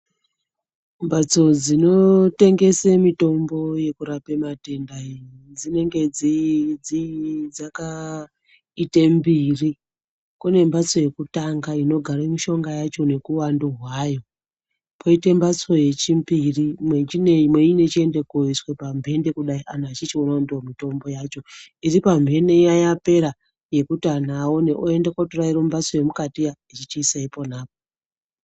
Mbatso dzinotengese mitombo kurapa matenda enyu dzinenge dzii dzakaite mbiri. Kune mbatso yekutanga inogare mishonga yacho nekuvandu hwayo. Koite mbatso yechimbiri mweichindoiswa pambende kudai antu achichio kuti ndiyo mitombo yacho. Iri pamhene yapera yekuti antu aone oenda kotora mumbatso yemukati iya zvichiisa iponapo.